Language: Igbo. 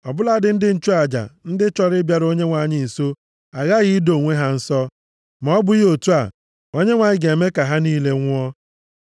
Ọ bụladị ndị nchụaja ndị chọrọ ịbịaru Onyenwe anyị nso aghaghị ido onwe ha nsọ. Ma ọ bụghị otu a, Onyenwe anyị ga-eme ka ha niile nwụọ.”